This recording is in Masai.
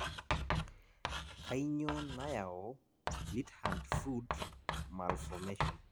kainyioo nayau Split hand foot malformation?